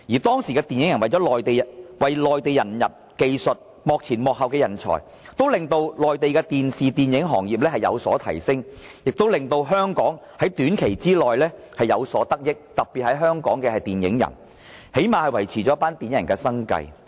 當時香港電影人為內地引入技術和幕前幕後人才，令內地的電視、電影行業製作水平有所提升，更令香港在短期內有所得益——特別是香港的電影人，最少維持了他們的生計。